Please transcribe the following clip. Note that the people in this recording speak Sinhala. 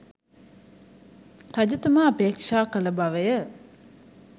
රජතුමා අපේක්‍ෂා කළ බවය.